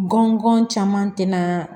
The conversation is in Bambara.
Gɔngɔn caman tɛna